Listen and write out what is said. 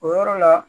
O yɔrɔ la